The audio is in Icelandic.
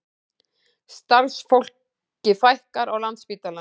Starfsfólki fækkar á Landspítalanum